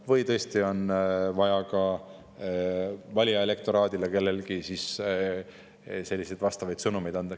Või tõesti on vaja kellelgi ka elektoraadile teatud sõnumeid anda.